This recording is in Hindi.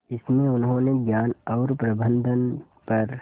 इसमें उन्होंने ज्ञान और प्रबंधन पर